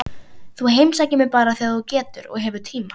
Þú heimsækir mig bara þegar þú getur og hefur tíma.